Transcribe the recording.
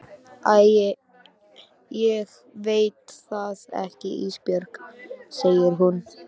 Æ ég veit það ekki Ísbjörg, segir hún.